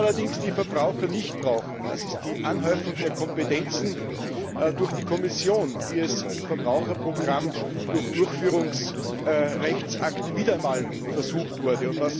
Was allerdings die Verbraucher nicht brauchen, das ist die Anhäufung der Kompetenzen durch die Kommission, wie es im Verbraucherprogramm durch Durchführungsrechtsakte wieder einmal versucht wurde.